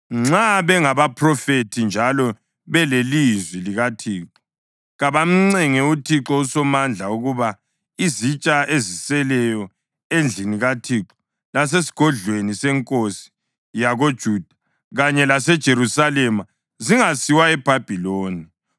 Nxa bengabaphrofethi njalo belelizwi likaThixo, kabamncenge uThixo uSomandla ukuba izitsha eziseleyo endlini kaThixo lasesigodlweni senkosi yakoJuda kanye laseJerusalema zingasiwa eBhabhiloni.